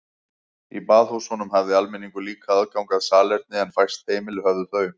Í baðhúsunum hafði almenningur líka aðgang að salerni en fæst heimili höfðu þau.